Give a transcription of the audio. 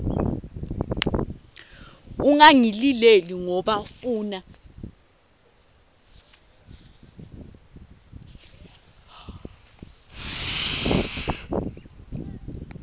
ungangilileli ngoba funa